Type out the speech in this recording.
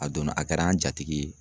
A donna a kɛra an jatigi ye.